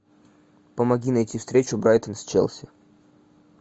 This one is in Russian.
помоги найти встречу брайтон с челси